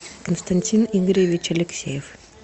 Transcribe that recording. константин игоревич алексеев